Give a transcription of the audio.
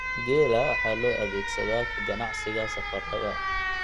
Geela waxa loo adeegsadaa ka ganacsiga safarrada.